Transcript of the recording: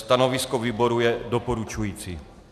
Stanovisko výboru je doporučující.